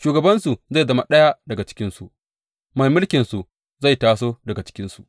Shugabansu zai zama ɗaya daga cikinsu; mai mulkinsu zai taso daga cikinsu.